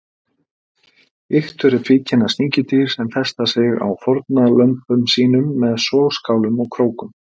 Iktur eru tvíkynja sníkjudýr sem festa sig á fórnarlömbum sínum með sogskálum og krókum.